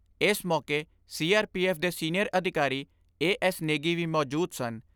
ਏਸ ਮੌਕੇ C R P F ਦੇ ਸੀਨੀਅਰ ਅਧਿਕਾਰੀ ਏ ਐਸ ਨੇਗੀ ਵੀ ਮੌਜੂਦ ਸਨ।